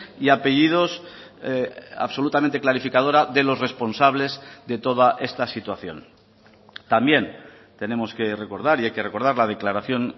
y apellidos absolutamente clarificadora de los responsables de toda esta situación también tenemos que recordar y hay que recordar la declaración